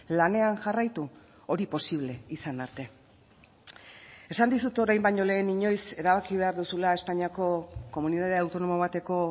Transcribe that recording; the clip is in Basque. lanean jarraitu hori posible izan arte esan dizut orain baino lehen inoiz erabaki behar duzula espainiako komunitate autonomo bateko